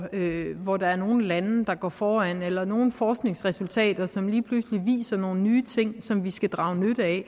hvor der er nogle lande der går foran eller nogle forskningsresultater som lige pludselig viser nogle nye ting som vi skal drage nytte af